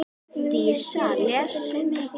Dísa les mikið.